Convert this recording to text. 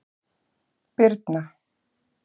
Birna